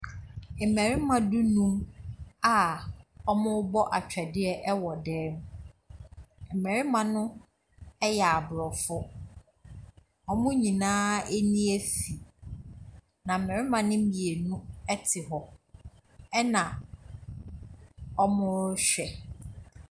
Mmarima du0num a wɔrebɔ atwɛdeɛ wɔ dan mu. Mmarima no yɛ Aborɔfo. Wɔn nyinaa ani afi, na mmarima no mmienu te hɔ ɛna wɔrehwɛ.